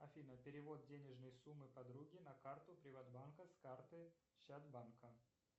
афина перевод денежной суммы подруге на карту приватбанка с карты чат банка